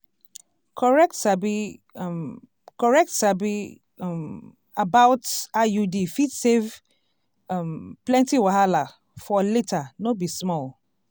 correct sabi um correct sabi um about iud fit save um plenty wahala for later no be small